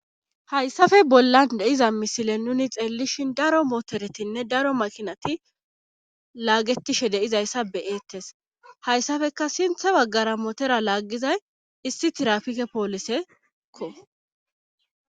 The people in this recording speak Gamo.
Hayssafe bollan deiza misile nuni xeellishin daro motoretinne daro makinati laagetishe deizayssa beyeettes hayssafeka sinthe baggara motera laaggizay issi tirafike pooliseekko.